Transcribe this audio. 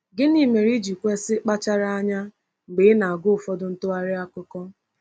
Gịnị mere i ji kwesị kpachara anya mgbe ị na-agụ ụfọdụ ntụgharị akụkọ?